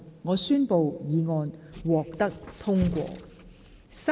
我宣布議案獲得通過。